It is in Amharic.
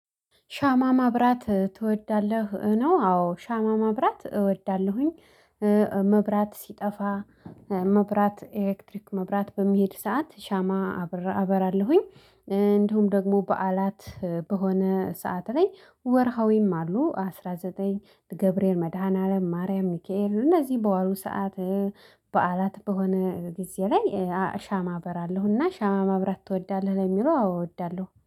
ሻማ ማብራት ትወዳለህ ነው አዎ ሻማ ማብራት እወዳለሁኝ። መብራት ሲጠፋ መብራት ኤሌክትሪክ መብራት በሚሄድ ሰዓት ሻማ አበራለሁኝ። እንዲሁም ደግሞ በዓላት በሆነ ሰዓት ላይ ወርሃዊም አሉ አስራ ዘጠኝ ገብርኤል መድኃኒዓለም ማርያም ሚካኤል እነዚህ በዋሉ ሰዓት። በዓላት በሆነ ጊዜ ላይ ሻማ አባራለሁና ሻማ ማብራት ትወዳለህ ለሚለው አው እወዳለሁ